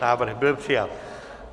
Návrh byl přijat.